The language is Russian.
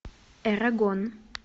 эрагон